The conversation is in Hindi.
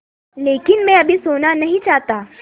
लेकिन मैं अभी सोना नहीं चाहता